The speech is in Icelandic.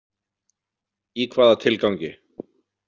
Í hvaða tilgangi?